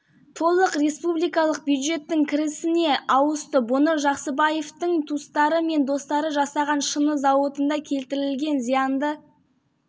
ол сондай-ақ осы іс шеңберінде пара берушілердің олар басшылар және құрылыс компанияларының өкілдері іс-әрекеттеріне құқықтық баға